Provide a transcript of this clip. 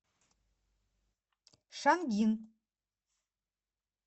шангин